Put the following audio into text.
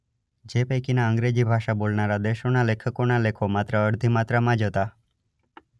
જે પૈકીના અંગ્રેજી ભાષા બોલનારા દેશોના લેખકોના લેખો માત્ર અડધી માત્રામાં જ હતા.